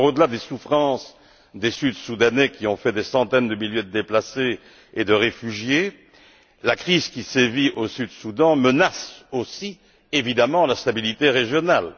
Au delà des souffrances des sud soudanais des centaines de milliers de déplacés et de réfugiés la crise qui sévit au Soudan du Sud menace aussi évidemment la stabilité régionale.